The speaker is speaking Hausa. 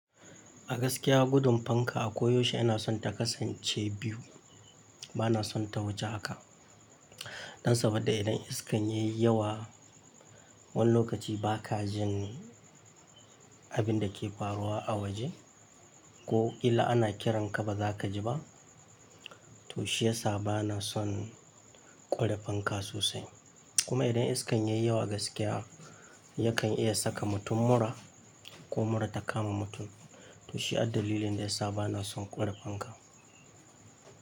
Gaskiya gudun fanka a koyaushe yana son ta kasance biyu. Bana son ta wuce haka. Dan saboda idan iskan yayi yawa, wani lokaci ba ka jin abin da ke faruwa a waje ko ƙila ana kiran ka ba za ka ji ba. To shi ya sa bana son ƙware fanka sosai. Kuma idan iskan yayi yawa gaskiya yakan iya saka mutum mura ko mura ta kama mutum. To shi addalilin da ya sa bana son ƙware fanka.